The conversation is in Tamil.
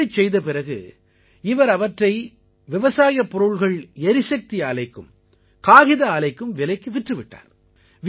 இப்படிச் செய்த பிறகு இவர் அவற்றை விவசாயப் பொருள்கள் எரிசக்தி ஆலைக்கும் காகித ஆலைக்கும் விலைக்கு விற்று விட்டார்